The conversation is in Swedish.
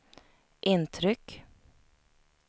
intryck